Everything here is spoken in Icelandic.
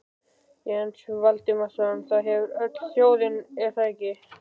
Jens Valdimarsson: Það hefur öll þjóðin, er það ekki?